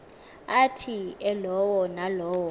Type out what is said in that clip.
athi elowo nalowo